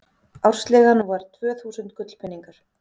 ársleigan var tvö þúsund gullpeningar